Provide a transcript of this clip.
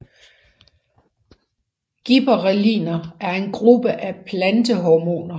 Gibberrelliner er en gruppe af plantehormoner